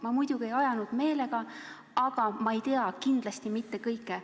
Ma muidugi ei ajanud meelega, aga ma ei tea kindlasti mitte kõike.